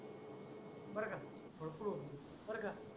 बर का झोपू बर का?